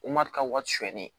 wari surunyali